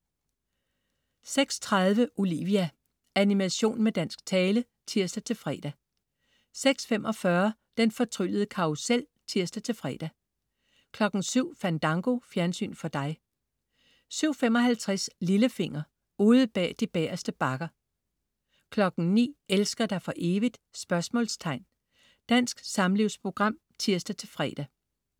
06.30 Olivia. Animation med dansk tale (tirs-fre) 06.45 Den fortryllede karrusel (tirs-fre) 07.00 Fandango. Fjernsyn for dig 07.55 Lillefinger. Ude bag de bagerste bakker 09.00 Elsker dig for evigt? Dansk samlivsprogram (tirs-fre)